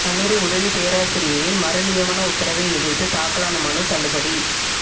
கல்லூரி உதவிப் பேராசிரியையின் மறுநியமன உத்தரவை எதிா்த்து தாக்கலான மனு தள்ளுபடி